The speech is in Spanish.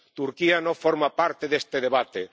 Turquía no forma parte de este debate.